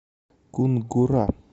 кунгура